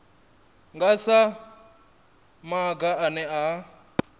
nga sa maga ane a